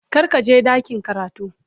Kar ka je ɗakin karatu.